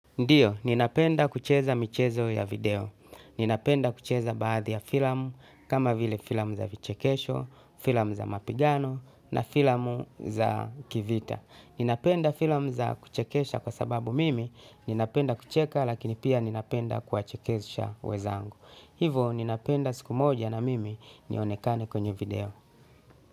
Ndiyo, ninapenda kucheza michezo ya video. Ninapenda kucheza baadhi ya filamu, kama vile filamu za vichekesho, filamu za mapigano, na filamu za kivita. Ninapenda filamu za kuchekesha kwa sababu mimi, ninapenda kucheka, lakini pia ninapenda kuwachekesha wezangu. Hivo, ninapenda siku moja na mimi, nionekane kwenye video.